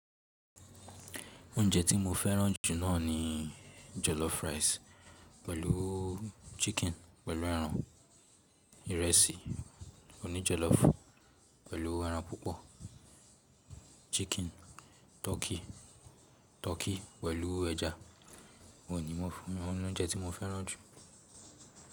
Oúnjẹ tí mo fẹ́ràn jù náà ni jollof rice pẹ̀lú chicken pẹ̀lú ẹran, ìrẹsì òní jollof pẹ̀lú ẹran púpọ̀, chicken, turkey pẹ̀lú ẹja. Wọ̀nyí ni wọ́n fún oúnjẹ tí mo fẹ́ràn jù.